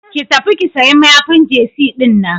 Ki tafi ki sayi mayafin jesi dinnan.